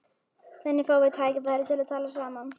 Þannig fáum við tækifæri til að tala saman